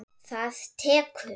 Það tekur